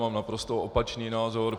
Mám naprosto opačný názor.